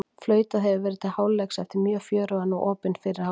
Flautað hefur verið til hálfleiks eftir mjög fjörugan og opinn fyrri hálfleik!